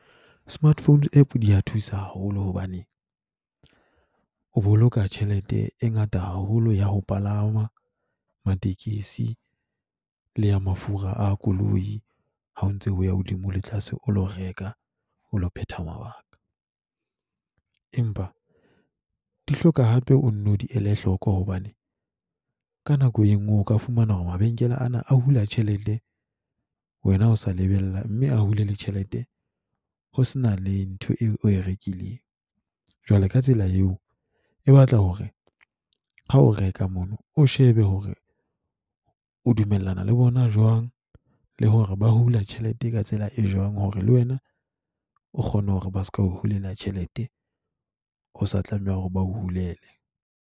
Smartphone App di a thusa haholo hobaneng o boloka tjhelete e ngata haholo ya ho palama matekesi le ya mafura a koloi, ha o ntse o ya hodimo le tlase, o lo reka, o lo phetha mabaka. Empa di hloka hape o nno di ele hloko hobane ka nako e nngwe o ka fumana hore mabenkele ana a hula tjhelete. Wena o sa lebella, mme a hule le tjhelete ho se na le ntho eo o e rekileng. Jwale ka tsela eo, e batla hore ha o reka mono, o shebe hore o dumellana le bona jwang le hore ba hula tjhelete ka tsela e jwang. Hore le wena o kgone hore ba seka o hulela tjhelete, ho sa tlameha hore ba hulele.